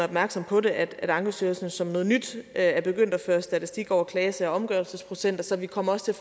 opmærksomme på det at ankestyrelsen som noget nyt er begyndt at føre statistik over klagesager og omgørelsesprocenter så vi kommer også til